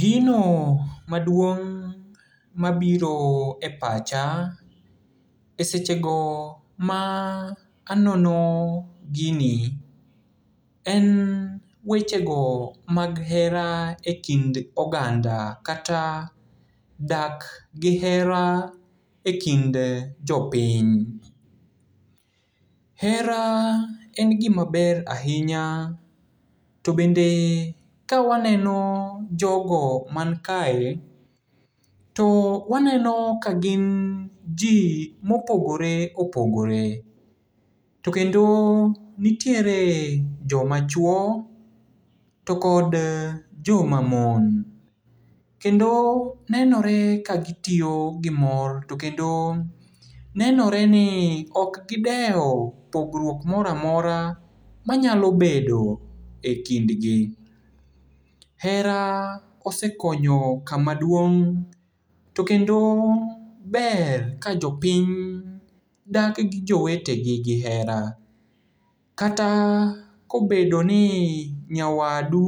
Gino maduong' mabiro e pacha e sechego ma anono gini, en wechego mag hera e kind oganda, kata dak gi hera e kind jopiny. Hera en gima ber ahinya, to bende kawaneno jogo mankae, to waneno ka gin ji mopogore opogore. To kendo nitiere jomachuo, to kod jomamon. Kendo nenore ka gitiyo gi mor to kendo nenore ni okgideo pogruok moramora manyalo bedo e kind gi. Hera osekonyo kamaduong' to kendo ber ka jopiny dak gi jowetegi gi hera. Kata kobedoni nyawadu